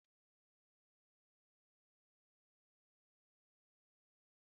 Emeka hụrụ Uda ose n'anya na ofe ose nne nne ya.